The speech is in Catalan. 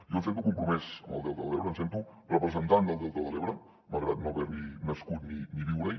jo em sento compromès amb el delta de l’ebre em sento representant del delta de l’ebre malgrat no haver hi nascut ni viure hi